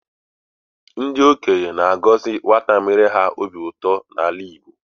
Ndị okenye na-agọzi nwata mere ha obi ụtọ n'ala Igbo.